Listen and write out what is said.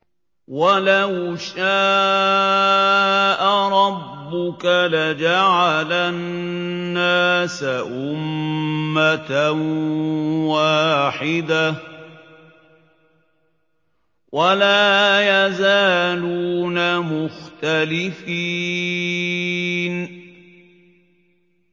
وَلَوْ شَاءَ رَبُّكَ لَجَعَلَ النَّاسَ أُمَّةً وَاحِدَةً ۖ وَلَا يَزَالُونَ مُخْتَلِفِينَ